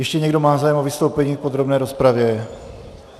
Ještě někdo má zájem o vystoupení v podrobné rozpravě?